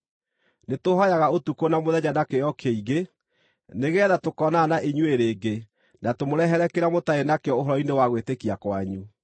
Nĩtũhooyaga ũtukũ na mũthenya na kĩyo kĩingĩ nĩgeetha tũkoonana na inyuĩ rĩngĩ na tũmũrehere kĩrĩa mũtarĩ nakĩo ũhoro-inĩ wa gwĩtĩkia kwanyu.